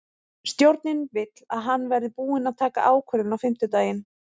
Stjórnin vill að hann verði búinn að taka ákvörðun á fimmtudaginn.